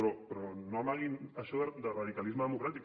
però no amaguin això de radicalisme democràtic